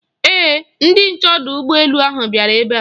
Ee, ndị nche ọdụ ụgbọ elu bịara ebe a.